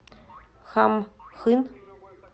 хамхын